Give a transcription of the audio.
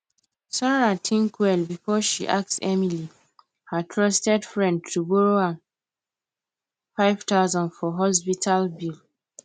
sarah think well before she ask emily her trusted friend to borrow am 5000 for hospital bill